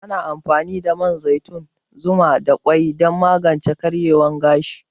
Ana amfani da man zaitun, zuma da kwai dan magance karyewan gashi